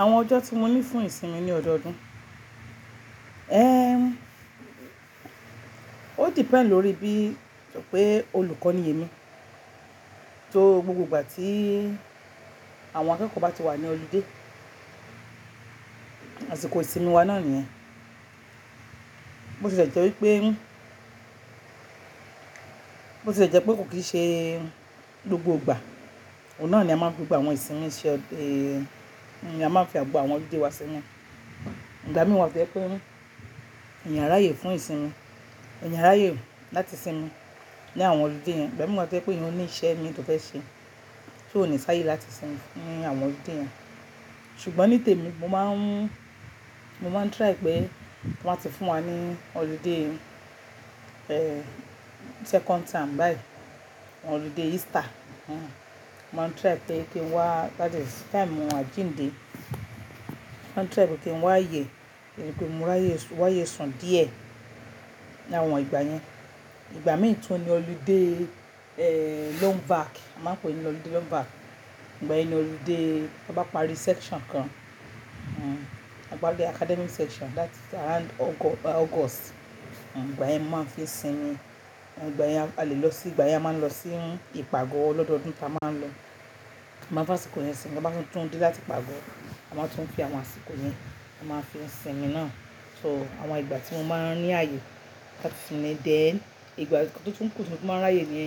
Àwọn ọjọ́ tí mo ní fún ìsinmi ní ọdọọdún, ẹ́, ó depend lórí bí pé olùkọ́ ni èmi. Torí gbogbo ìgbà tí àwọn akẹ́kọ̀ọ́ bá ti wà ní ọlidé, àsìkò ìsinmi wa náà nìyẹn. Bó ti le jẹ́ wípé, bó tie jẹ́ pé kò kì í ṣe gbogbo ìgbà, òun náà ni a máa ń fi gbogbo àwọn ìsinmi ṣe, eh, ni a máa ń fi gbogbo àwọn ọlidé wa sínmi. Igba mií wà to je pé, eyan a ráyè fún ìsinmi, eyan a ráyè láti sinmi ní àwọn ọlidé yẹn. Igba mií wà to jẹ́ pé eyan le ní iṣẹ́ mii tó fẹ́ ṣe, ti ò ní sáyé láti sinmi ní àwọn ọlidé yẹn. Ṣùgbọ́n ní tèmi mo máa ń, mo máa ń try pé tí wọ́n ba ti fún wa ní ọlidé, eh, second term báyìí, ọlidé Easter. Mò ń try pé kí n wá, that is time àjíǹde. Mo maa n try pé kí n wá aye, rí pé mo ráyé, wá ye sun díẹ̀ ní àwọn ìgbà yẹn. Ìgbà míi tún ni ọlidé, eh, long vac, a máa ń pe é ní ọlidé long vac. Ìgbà yẹn ni ọlidé ta bá parí section kan, hm, a bá parí academic section that is around August. Ìgbà yẹn máa ń fi sinmi. Ìgbà yẹn a lè lọ sí, ìgbà yẹn a máa ń lọ sí ìpàgo lọ́dọọdún ta máa ń lọo. A máa ń fi àsìkò yẹn sinmi. Ta bá tún dé láti ìpago, a máa tún fi àwọn àsìkò yẹn, a máa fi n sinmi náà. So àwọn ìgbà tí mo máa ń ní àyè láti sinmi. Then ìgbà tó tún kù tí mo tun máa ń ráyè ni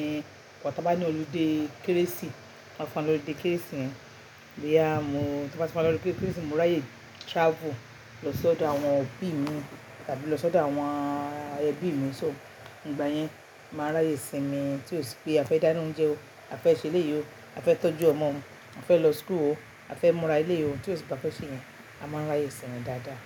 igbà tá bá ní ọlidé kérésì, wan fun wa ni ọlidé kérésì yẹn. Bí a mo, tan bá ti fun wá lọdun kérésì, mo ráyè travel lọ sọ́dọ̀ àwọn òbí mi tàbí lọ sọ́dọ̀ àwọn ebi mi. So ìgbà yẹn màá ráyé sinmi tí ó sì pé a fẹ́ dáná oúnjẹ o, a fẹ́ ṣe eleyii ó, a fẹ́ tọ́jú ọmọ o, a fẹ́ lọ school o, a fẹ́ múra eleyii o. Tí ó sì pe a fẹ́ ṣe iyẹn, a máa ráyé sinmi dáadáa.